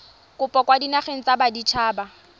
kopo kwa dinageng tsa baditshaba